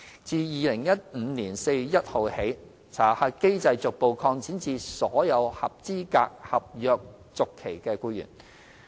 自2015年4月1日起，查核機制逐步擴展至所有合資格合約續期僱員。